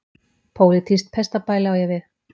Pólitískt pestarbæli á ég við.